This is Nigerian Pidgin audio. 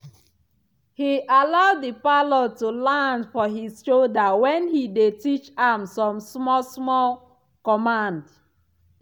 he allow the parrot to land for his shoulder when he dey teach am some small small command.